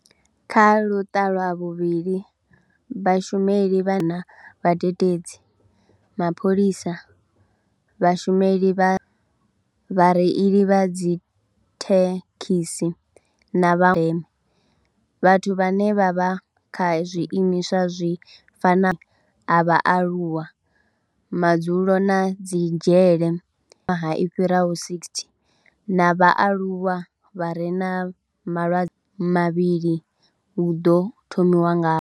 Kha luṱa lwa vhuvhili, Vhashumeli vha vhadededzi, mapholisa, vhashumeli vha, vhareili vha dzithekhisi na vha ndeme, vhathu vhane vha vha kha zwiimiswa zwi fanaho vhaaluwa, madzulo na dzi dzhele i fhiraho 60 na vhaaluwa vha re na malwadze mavhili hu ḓo thomiwa ngavho.